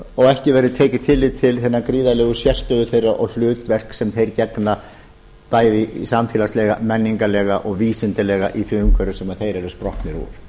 og ekki verði tekið tillit til hinnar gríðarlegu sérstöðu þeirra og hlutverks sem þeir gegna bæði samfélagslega menningarlega og vísindalega í því umhverfi sem þeir